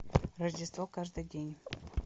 рождество каждый день